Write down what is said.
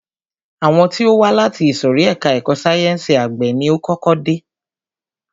Àwọn tí ó wá láti ìsòrí ẹka ẹ̀kọ́ sáyẹnsì àgbẹ̀ ni o kọ́kọ́ dé.